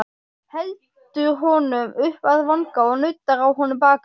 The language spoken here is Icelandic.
Heldur honum upp að vanga og nuddar á honum bakið.